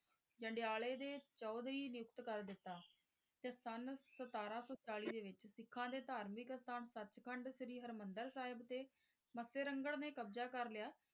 ਜੰਡਿਆਲੇ ਦੇ ਚੌਧਰੀ ਨਿਯੁਕਤ ਕਰ ਦਿੱਤਾ ਤੇ ਸੰਨ ਸਤਾਰਾਂ ਸੋ ਚਾਲੀ ਦੇ ਵਿਚ ਸਿੱਖਾਂ ਦੇ ਧਾਰਮਿਕ ਅਸਥਾਨ ਸੱਚਖੰਡ ਸ਼੍ਰੀ ਹਰਿਮੰਦਰ ਸਾਹਿਬ ਤੇ ਮੱਸੇ ਰੰਘੜ ਨੇ ਕਬਜਾ ਕਰ ਲਿਆ।